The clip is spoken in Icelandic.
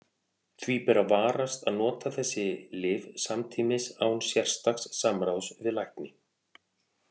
Því ber að varast að nota þessi lyf samtímis án sérstaks samráðs við lækni.